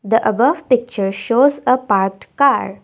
the above picture shows a part car.